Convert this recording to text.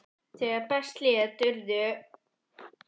Þegar best lét urðu áskrifendur ríflega